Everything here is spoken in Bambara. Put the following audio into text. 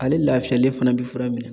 Ale lafiyalen fana bi fura minɛ.